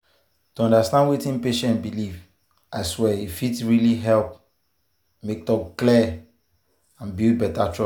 to understand wetin patient believe i swear e fit really help make talk clear and build better trust.